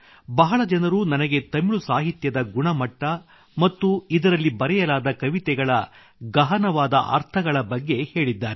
ಬಹಳ ಜನರು ನನಗೆ ತಮಿಳು ಸಾಹಿತ್ಯದ ಗುಣಮಟ್ಟ ಮತ್ತು ಇದರಲ್ಲಿ ಬರೆಯಲಾದ ಕವಿತೆಗಳ ಗಹನವಾದ ಅರ್ಥಗಳ ಬಗ್ಗೆ ಹೇಳಿದ್ದಾರೆ